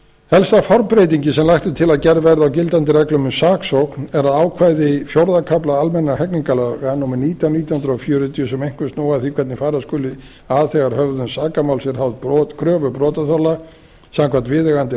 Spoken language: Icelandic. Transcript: helsta formbreytingin sem lagt er til að gerð verði á gildandi reglum um saksókn er ákvæði fjórða kafla almennra hegningarlaga númer nítján nítján hundruð fjörutíu sem einkum snúa að því hvernig fara skuli að þegar höfðun sakamáls er háð kröfu brotaþola samkvæmt viðeigandi